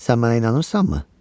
Sən mənə inanırsanmı?